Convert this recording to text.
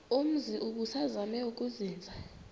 umzi ubusazema ukuzinza